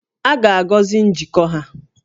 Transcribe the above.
A ga-agọzi njikọ ha